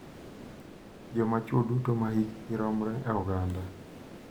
Joma chwo duto ma hikgi romre e oganda.